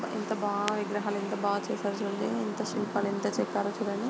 ఎంత బాగా విగ్రహాలు ఎంత బాగా చేశారు చూడండి ఎంత శిల్పాలు ఎంత చెక్కారో చూడండి.